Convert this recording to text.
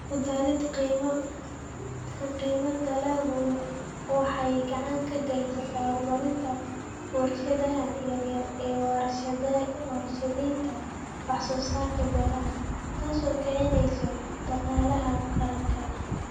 Ku darida qiimaha dalaggu waxay gacan ka geysataa horumarinta warshadaha yaryar ee warshadaynta wax soo saarka beeraha, taas oo kicinaysa dhaqaalaha qaranka.